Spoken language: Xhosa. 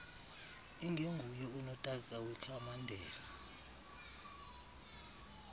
ingenguye unotaka wekhamandela